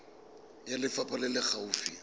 ya lefapha e e gaufi